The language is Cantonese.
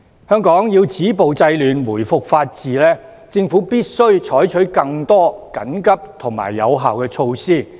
香港要止暴制亂，回復法治，政府必須採取更多緊急和有效的措施。